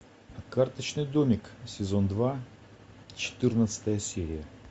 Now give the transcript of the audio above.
карточный домик сезон два четырнадцатая серия